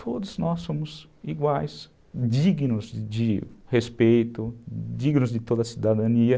Todos nós somos iguais, dignos de respeito, dignos de toda a cidadania.